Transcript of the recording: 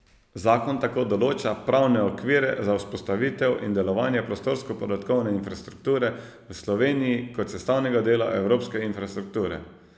Zakon tako določa pravne okvire za vzpostavitev in delovanje prostorsko podatkovne infrastrukture v Sloveniji kot sestavnega dela evropske infrastrukture.